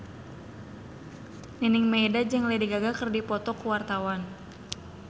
Nining Meida jeung Lady Gaga keur dipoto ku wartawan